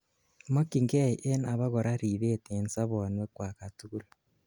mokyingei en abakora ribet en sobonwekwak katugul